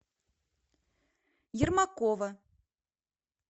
ермакова